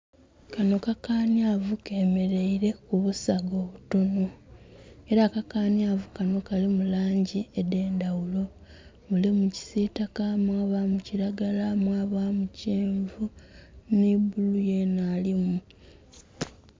Kanho kakanhyavu kemeleile ku busaga obutono ela akakanhyavu kanho kalimu langi edh'endhaghulo. Mulimu kisitaka, mwabamu kilagala, mwabamu kyenvu nhi bulu yena alimu.